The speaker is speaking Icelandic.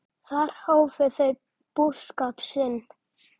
Þar hófu þau búskap sinn.